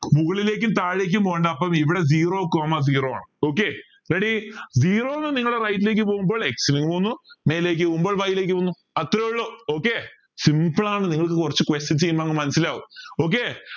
മുകളിലേക്കും താഴേക്കും പോണ്ട അപ്പം ഇവിടെ zero coma zero ആണ് okay readyzero ന്ന് നിങ്ങൾ right ലേക്ക് പോവുമ്പോൾ X ന് പൊന്നു മേലേക്ക് പോവ്വുമ്പോൾ Y ലേക്ക് പോവുന്നു അത്രയേ ഉള്ളൂ okay simple ആണ് നിങ്ങൾക്ക് കുറച് questions ചെയ്യുമ്പോ മനസിലാവും okay